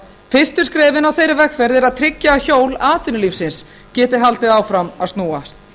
fyrstu skrefin á þeirri vegferð eru að tryggja að hjól atvinnulífsins geti haldið áfram að snúast